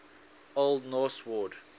old norse word